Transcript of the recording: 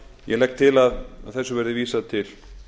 ég legg til að þessu verði vísað til